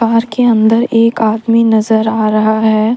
Car के अंदर एक आदमी नजर आ रहा है।